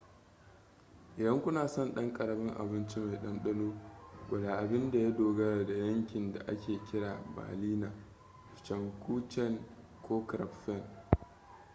idan kuna son ɗan ƙaramin abincimai ɗanɗano gwada abin da ya dogara da yankin da ake kira berliner pfannkuchen ko krapfen